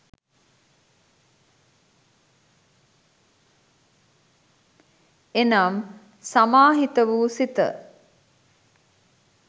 එනම් සමාහිත වූ සිත